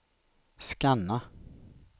scanna